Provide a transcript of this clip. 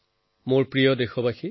মোৰ মৰমৰ দেশবাসী